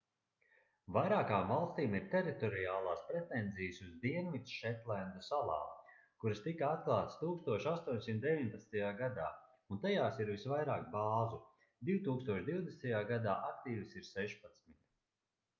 vairākām valstīm ir teritoriālās pretenzijas uz dienvidšetlendu salām kuras tika atklātas 1819. gadā un tajās ir visvairāk bāzu - 2020. gadā aktīvas ir sešpadsmit